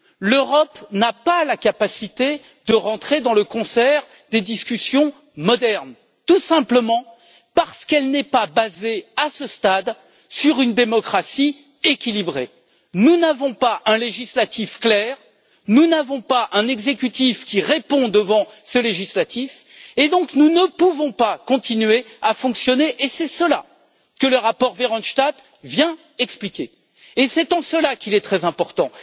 L'Europe n'a pas la capacité de rentrer dans le concert des discussions modernes, tout simplement parce qu'elle n'est pas basée, à ce stade, sur une démocratie équilibrée. Nous n'avons pas un législatif clair, nous n'avons pas un exécutif qui répond devant ce législatif et, donc, nous ne pouvons pas continuer à fonctionner. C'est cela que le rapport Verhofstadt vient expliquer et c'est en cela qu'il est très important.